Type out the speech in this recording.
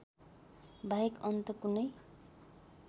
बाहेक अन्त कुनै